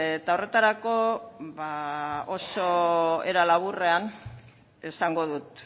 eta horretarako oso era laburrean esango dut